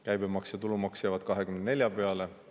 Käibemaks ja tulumaks jäävad 24% peale.